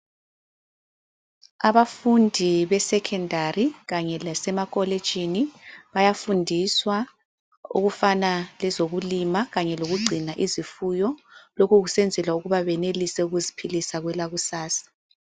Abafundi besekhendari kanye lasemakolitshini bayafundiswa okufana lezokulima kanye lokugcina izifuyo. Lokho kusenzelwa ukuba benelise ukuziphilisa kwelakusasa.